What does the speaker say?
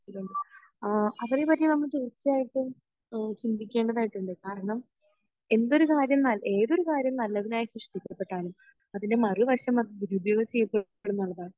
മനുഷ്യരിലുണ്ട് ആഹ് അവരെ പറ്റി നമ്മൾ തീർച്ചയായിട്ടും ഇഹ് ചിന്തിക്കേണ്ടതായിട്ടുണ്ട് കാരണം എന്തൊരു കാര്യം ഏതൊരു കാര്യം നല്ലതിനായി സൃഷ്ടിക്കപ്പെട്ടാലും അതിൻ്റെ മറു വശം അത് ദുരുപയോഗം ചെയ്യുന്നതാണ്